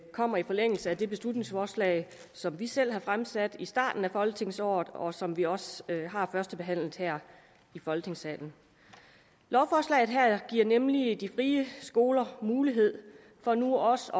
kommer i forlængelse af det beslutningsforslag som vi selv har fremsat i starten af folketingsåret og som vi også har førstebehandlet her i folketingssalen lovforslaget her giver nemlig de frie skoler mulighed for nu også